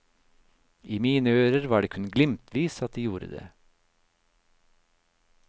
I mine ører var det kun glimtvis at de gjorde det.